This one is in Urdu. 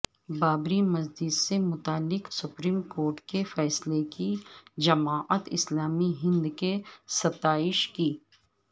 بابری مسجد سے متعلق سپریم کورٹ کے فیصلے کی جماعت اسلامی ہندنے ستائش کی